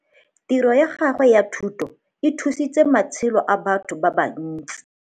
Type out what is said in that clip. Tiro ya gawe ya thutô e thusitse matshelô a batho ba bantsi.